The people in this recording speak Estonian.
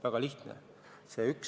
Väga lihtne!